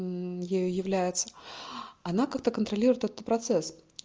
ею является она как-то контролирует этот процесс